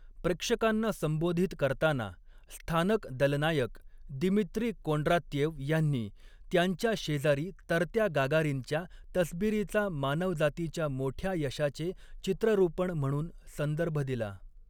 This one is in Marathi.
प्रेक्षकांना संबोधित करताना, स्थानक दलनायक दिमित्री कोंड्रात्येव ह्यांनी, त्यांच्या शेजारी तरत्या गागारिनच्या तसबिरीचा 'मानवजातीच्या मोठ्या' यशाचे चित्ररुपण म्हणून संदर्भ दिला.